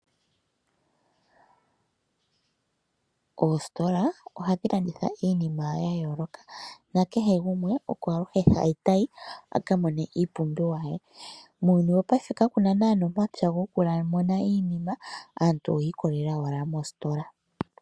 Oositola ohadhi landitha iinima yayooloka, na kehe gumwe oko aluhe ta yi a ka mone iipumbiwa ye. Muuyuni wopayife ka kuna naanaa omapya goku. muna iinima aantu oyi I kolela owala moositola.